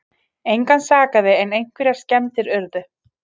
Engan sakaði en einhverjar skemmdir urðu